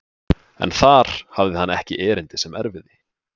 En þar hafði hann ekki erindi sem erfiði.